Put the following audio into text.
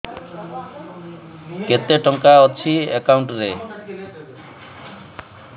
କେତେ ଟଙ୍କା ଅଛି ଏକାଉଣ୍ଟ୍ ରେ